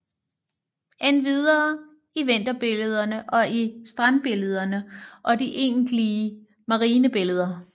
Endvidere i vinterbillederne og i strandbillederne og de egentlige marinebilleder